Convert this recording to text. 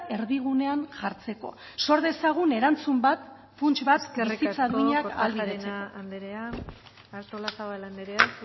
erdigunean jartzeko sor dezagun erantzun bat funts bat bizitza duinak ahalbidetzeko eskerrik asko kortajarena anderea artolazabal anderea